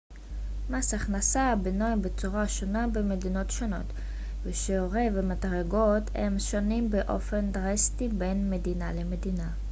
מס הכנסה בנוי בצורה שונה במדינות שונות ושיעורי ומדרגות המס שונים באופן דרסטי בין מדינה למדינה